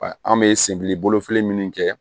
An bɛ senbili bolo fili minnu kɛ